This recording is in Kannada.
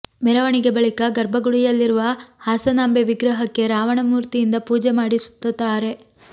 ಮೆರವಣಿಗೆ ಬಳಿಕ ಗರ್ಭಗುಡಿಯಲ್ಲಿರುವ ಹಾಸನಾಂಬೆ ವಿಗ್ರಹಕ್ಕೆ ರಾವಣ ಮೂರ್ತಿಯಿಂದ ಪೂಜೆ ಮಾಡಿ ಸುತ್ತಾರೆ